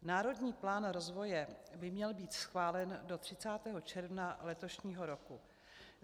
Národní plán rozvoje by měl být schválen do 30. června letošního roku.